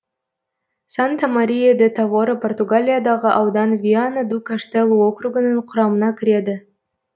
санта мария де тавора португалиядағы аудан виана ду каштелу округінің құрамына кіреді